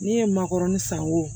Ne ye makɔrɔni san wo